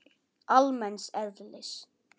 almenns eðlis.